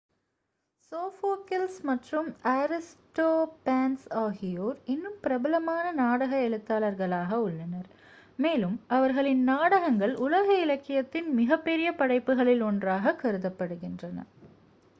Sophocles மற்றும் Aristophanes ஆகியோர் இன்னும் பிரபலமான நாடக எழுத்தாளர்களாக உள்ளனர் மேலும் அவர்களின் நாடகங்கள் உலக இலக்கியத்தின் மிகப் பெரிய படைப்புகளில் ஒன்றாகக் கருதப்படுகின்றன